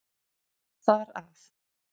Þar af.